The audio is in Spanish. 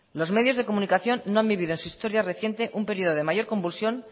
los medios de comunicación no han vivido en su historia reciente un periodo de mayor convulsión